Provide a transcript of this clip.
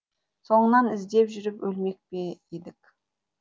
соңыңнан іздеп жүріп өлмек пе едік